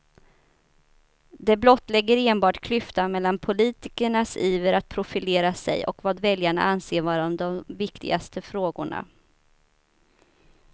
Det blottlägger enbart klyftan mellan politikernas iver att profilera sig och vad väljarna anser vara de viktigaste frågorna.